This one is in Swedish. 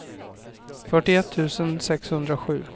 fyrtioett tusen sexhundrasju